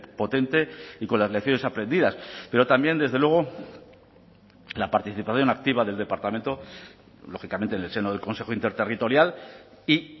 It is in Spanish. potente y con las lecciones aprendidas pero también desde luego la participación activa del departamento lógicamente en el seno del consejo interterritorial y